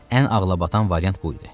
Ən ağlabatan variant bu idi.